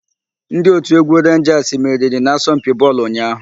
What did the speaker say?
Ndị òtù égwú Renjasị meriri n'asompi bọọlụ ụnyaahụ.